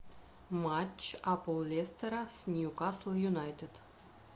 матч апл лестера с ньюкасл юнайтед